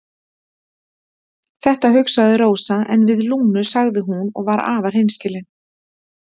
Þetta hugsaði Rósa en við Lúnu sagði hún og var afar hreinskilin